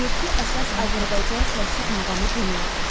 Yeddi əsas Azərbaycan klassik muğamı bunlardır: